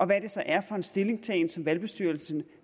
hvad det så er for en stillingtagen som valgbestyrelsen